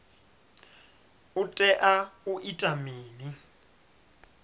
u tea u ita mini